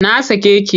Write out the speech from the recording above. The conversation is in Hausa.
Na sake ki!